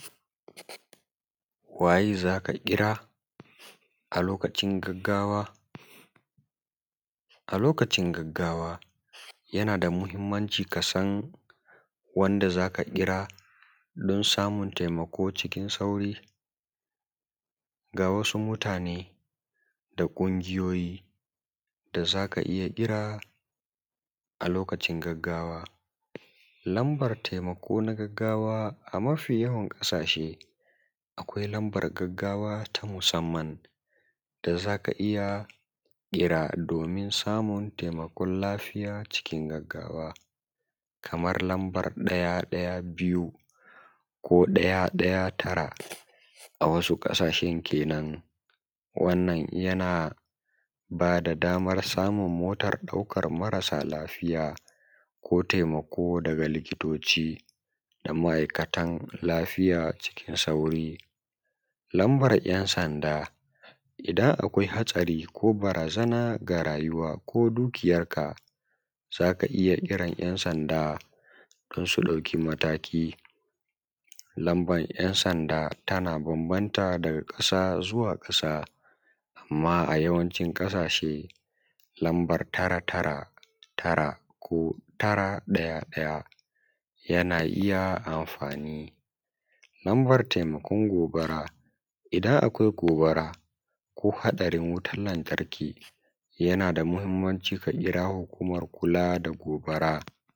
waye zaka ƙira a lokacin gaggawa a lokacin gaggawa yana da muhimmanci ka san wanda zaka ƙira don samun taimako cikin sauri ga wasu mutane da ƙungiyoyi da zaka iya ƙira a lokacin gaggawa lambar taimako na gaggawa a mafi yawan ƙasashe akwai lambar gaggawa ta musamman da zaka iya kira domin samun taimakon lafiya cikin gaggawa kamar lambar ɗaya ɗaya biyu ko ɗaya ɗaya tara a wasu ƙasashen kenan wannan yana bada damar samun motar ɗaukan marasa lafiya ko taimako daga likitoci da ma’aikatan lafiya cikin sauri lambar ‘yan sanda idan akwai haɗari ko barazana ga rayuwa ko dukiyar ka zaka iya ƙiran ‘yan sanda don su ɗauki mataki lamban ‘yan sanda tana banbanta daga ƙasa zuwa ƙasa amman a yawancin ƙasashe lambar tara tara tara ko tara ɗaya ɗaya yana iya amfani lambar taimakon gobara idan akwai gobara ko haɗarin wutan lantarki yana da muhimmanci ka ƙira hukumar kula da gobara